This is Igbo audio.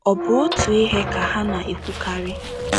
Ọ̀ bụ otu ihe ka ha na - ekwukarị?